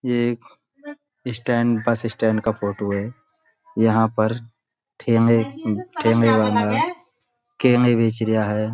यह एक stand bus stand का फोटो है यहाँ पर ठेंगे ठेले वाला केले बेच रिहा है।